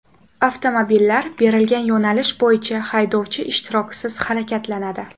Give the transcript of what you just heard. Avtomobillar berilgan yo‘nalish bo‘yicha haydovchi ishtirokisiz harakatlanadi.